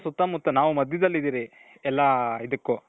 ಸುತ್ತ ಮುತ್ತ ನಾವು ಮಧ್ಯದಲ್ಲಿದಿವಿ ಎಲ್ಲಾ ಇದುಕ್ಕು